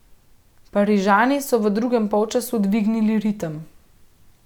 Parižani so v drugem polčasu dvignili ritem.